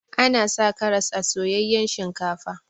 Ana sa karas a soyayyan shinkafa.